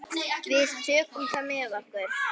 Við tökum það með okkur.